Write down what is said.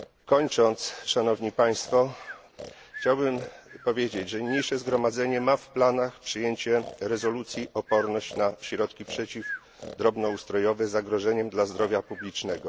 Kończąc, chciałbym powiedzieć, że niniejsze Zgromadzenia ma w planach przyjęcie rezolucji Oporność na środki przeciw drobnoustrojowe zagrożeniem dla zdrowia publicznego.